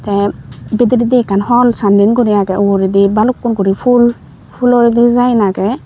tey bideredi ekkan holl sanney guri agey uguredi balukkun guri ful fulor design agey.